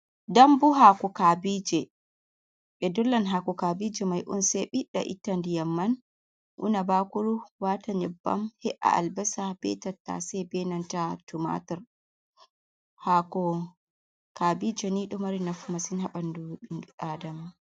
Dambu hako kabijee, ɓe dollan hako kabije mai'on sai ɓida ita ndiyam man una bakuru watan nyebbam he’a albasa be tattasai benanta tumatar, hako kabije ni ɗo mari nafu massin ha ɓandu inu adama.